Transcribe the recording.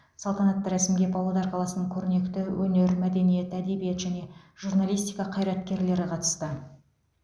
салтанатты рәсімге павлодар қаласының көрнекті өнер мәдениет әдебиет және журналистика қайраткерлері қатысты